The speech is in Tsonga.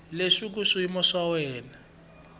ya leswaku xiyimo xa wena